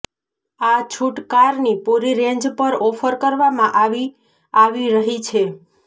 આ છૂટ કારની પૂરી રેન્જ પર ઓફર કરવામાં આવી આવી રહી છે